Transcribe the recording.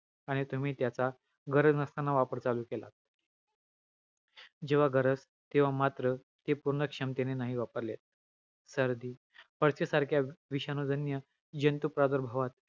अन्नाचे रूपांतर आहार रसा मध्ये होते , अन्नाचे आहार रसा मध्ये रुपांतर होण्याचा प्रक्रियेला स्थूलपचन म्हणतात .